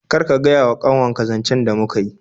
Kar ka gaya wa kanwar ka zancen da muka yi